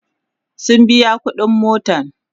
sun biya ƙuɗin motan